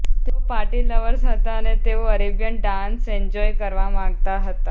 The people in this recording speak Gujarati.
તેઓ પાર્ટી લવર્સ હતા અને તેઓ અરેબિયન ડાન્સ એન્જોય કરવા માગતા હતા